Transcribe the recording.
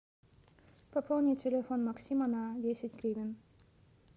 пополни телефон максима на десять гривен